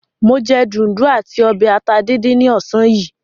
Mo jẹ dùndún àti ọbẹ̀ ata díndín ní ọ̀sán yìí.